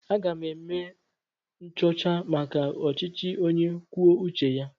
Aga m eme nchọcha maka ọchịchị onye kwuo uche ya.